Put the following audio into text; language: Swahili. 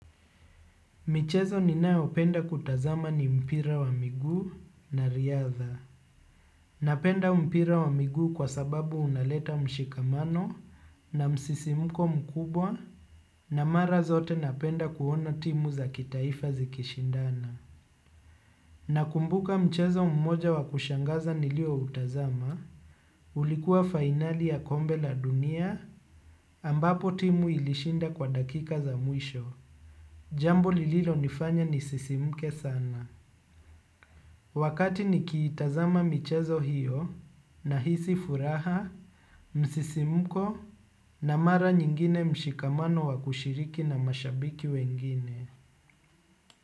Michezo ninayopenda kutazama ni mpira wa miguu na riadha. Napenda mpira wa miguu kwa sababu unaleta mshikamano na msisimko mkubwa na mara zote napenda kuona timu za kitaifa zikishindana. Nakumbuka mchezo mmoja wa kushangaza nilioutazama, ulikuwa finali ya kombe la dunia ambapo timu ilishinda kwa dakika za mwisho. Jambo lililonifanya nisisimke sana. Wakati nikiitazama michezo hiyo nahisi furaha, msisimko na mara nyingine mshikamano wa kushiriki na mashabiki wengine.